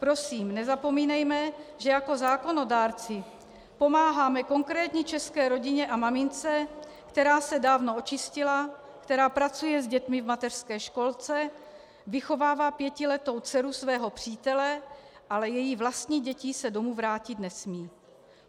Prosím, nezapomínejme, že jako zákonodárci pomáháme konkrétní české rodině a mamince, která se dávno očistila, která pracuje s dětmi v mateřské školce, vychovává pětiletou dceru svého přítele, ale její vlastní děti se domů vrátit nesmějí.